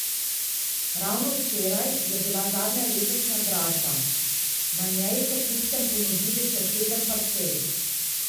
Ravno včeraj je bila zadnja letošnja dražba, na njej so kupcem ponudili še sedem parcel.